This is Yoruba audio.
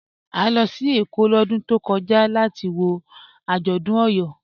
À lọ sí Ékó lódún tó kọja latí wọ ajọ́dún Eyọ.